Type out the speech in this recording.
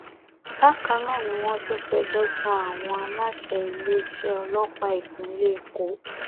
bákan náà ni wọn tún fẹjọ sun àwọn aláṣẹ iléeṣẹ ọlọpàá ìpínlẹ èkó